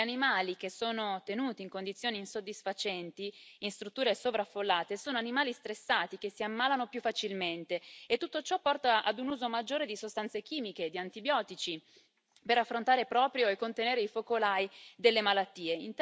Gli animali che sono tenuti in condizioni insoddisfacenti in strutture sovraffollate sono animali stressati, che si ammalano più facilmente, e tutto ciò porta ad un uso maggiore di sostanze chimiche, di antibiotici, per affrontare e contenere i focolai delle malattie.